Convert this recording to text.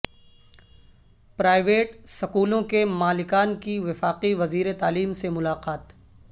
private سکولوں کے مالکان کی وفاقی وزیر تعلیم سے ملاقات